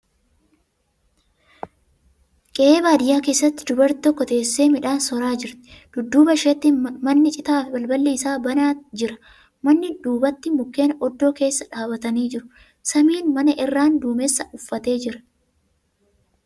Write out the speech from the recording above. Qe'ee baadiyyaa keessatti dubarri tokko teessee midhaan soraa jirti. Dudduuba isheetti manni citaa balballi isaa banaa jira. Mana duubatti mukkeen oddoo keessa dhaabbatanii jiru. Samiin mana irraan duumessa uffatee jira .